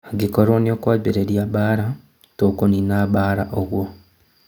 Angĩkorwo nĩũkwambarĩria mbara, tũkunina mbara ũguo"